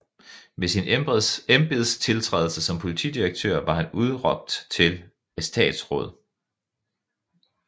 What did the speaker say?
Ved sin embedstiltrædelse som politidirektør var han udnævnt til etatsråd